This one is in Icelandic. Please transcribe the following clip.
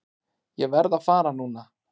Ég verð að fara núna!